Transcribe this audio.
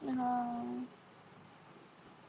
हा आह